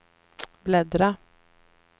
bläddra